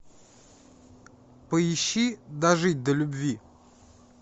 поищи дожить до любви